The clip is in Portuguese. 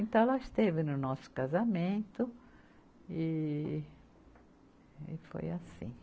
Então, ela esteve no nosso casamento e e foi assim.